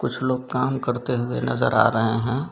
कुछ लोग काम करते हुए नजर आ रहे हैं।